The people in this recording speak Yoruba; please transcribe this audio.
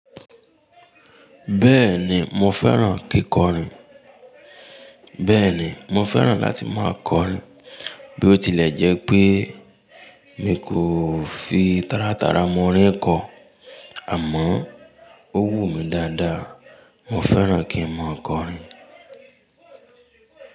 Bẹ́ẹ̀ni mo fẹ́ràn kíkọrin. Bẹ́ẹ̀ni mo fẹ́ràn láti máa kọrin. Bí ó tilẹ̀ jẹ́ pé mi kò fi tárátara mo oríń kọ, àmọ́ ó wù mí dáadáa. Mo fẹ́ràn kí n máa kọrin.